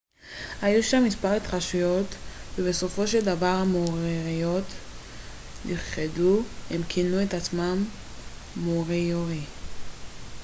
הם כינו את עצמם המוריורי moriori. היו שם מספר התכתשויות ובסופו של דבר המוריורי נכחדו